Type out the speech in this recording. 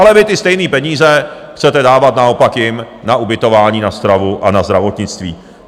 Ale vy ty stejné peníze chcete dávat naopak jim na ubytování, na stravu a na zdravotnictví.